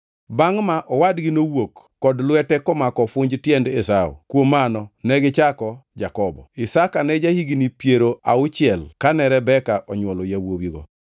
Bangʼ ma owadgi nowuok kod lwete komako ofunj tiend Esau; kuom mano negichako Jakobo. Isaka ne ja-higni piero auchiel kane Rebeka onywolo yawuowigo.